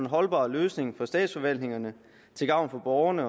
holdbar løsning for statsforvaltningerne til gavn for borgerne